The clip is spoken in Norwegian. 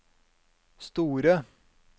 store